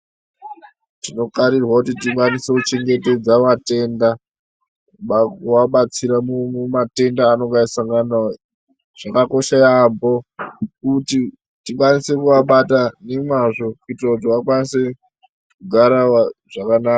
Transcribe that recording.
Tinokarirwa kuti tikwanise kuchengetedza vatenda kuvabatsira mumatenda avanonge vachisangana nawo. Chakakosha yaampho kuti tikwanise kuvabata nemwazvo kuitire kuti vakwanise kugara zvakanaka.